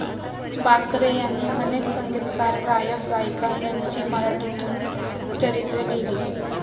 बाकरे यांनी अनेक संगीतकार, गायक, गायिका, यांची मराठीतून चरित्रे लिहिली.